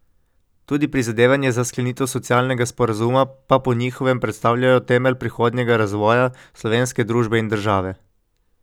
Tudi prizadevanja za sklenitev socialnega sporazuma pa po njihovem predstavljajo temelj prihodnjega razvoja slovenske družbe in države.